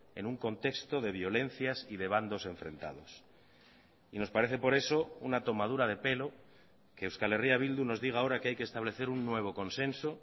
en un contexto de violencias y de bandos enfrentados y nos parece por eso una tomadura de pelo que euskal herria bildu nos diga ahora que hay que establecer un nuevo consenso